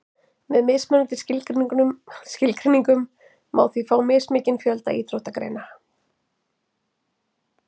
með mismunandi skilgreiningum má því fá mismikinn fjölda íþróttagreina